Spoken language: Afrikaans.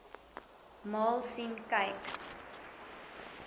maal sien kyk